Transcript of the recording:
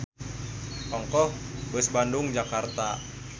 Ongkoh beus Bandung-Jakarta.